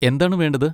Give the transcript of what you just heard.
എന്താണ് വേണ്ടത്?